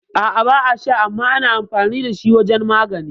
A'a ba a sha, amma ana amfani dashi wajan magani